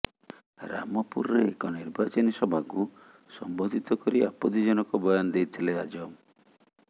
ରାମପୁରରେ ଏକ ନିର୍ବାଚନୀ ସଭାକୁ ସମ୍ବୋଧିତ କରି ଆପତ୍ତିଜନକ ବୟାନ ଦେଇଥିଲେ ଆଜମ